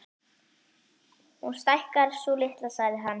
Hún stækkar, sú litla, sagði hann.